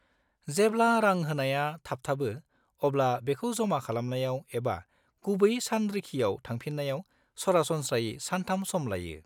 -जेब्ला रां होनाया थाबथाबो, अब्ला बेखौ जमा खालामनायाव एबा गुबै सानरिखियाव थांफिननायाव सरासनस्रायै सानथाम सम लायो।